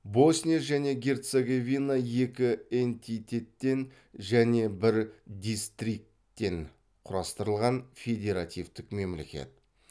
босния және герцеговина екі энтитеттен және бір дистрикттен құрастырылған федеративтік мемлекет